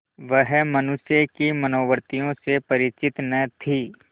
वह मनुष्य की मनोवृत्तियों से परिचित न थी